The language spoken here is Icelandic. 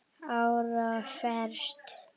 ára fresti.